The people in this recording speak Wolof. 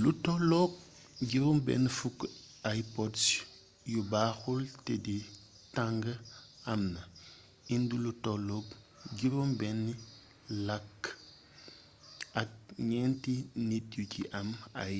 lu tollook 60 ipods yu baaxul té di tang am na indi lu tollook juróom benni làkk ak ñenti nit yu ci am ay